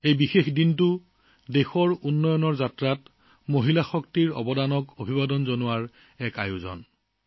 এই বিশেষ দিনটোত দেশৰ উন্নয়ন যাত্ৰাত নাৰী শক্তিৰ অৱদানক শ্ৰদ্ধা জনোৱাৰ সুযোগ দিয়া হৈছে